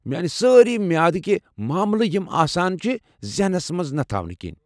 میانہِ سٲری معیادٕكہِ ماملہٕ یِم آسان چِھ ذہنس منز نہٕ تھاونہٕ كِنۍ۔